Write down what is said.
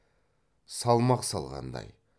салмақ салғандай